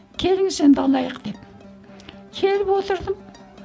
келіңіз енді алайық деп келіп отырдым